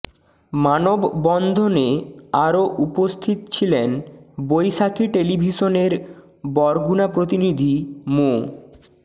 মানববন্ধনে আরো উপস্থিত ছিলেন বৈশাখী টেলিভিশনের বরগুনা প্রতিনিধি মো